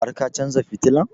Har ka chanza fitilan?